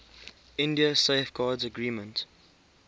india safeguards agreement